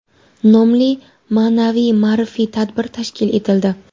nomli ma’naviy-ma’rifiy tadbir tashkil etildi.